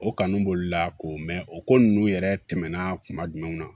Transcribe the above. O kanu b'olu la ko o ko ninnu yɛrɛ tɛmɛna kuma jumɛn na